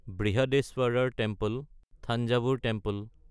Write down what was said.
বৃহদীশ্বৰৰ temple (Thanjavur temple)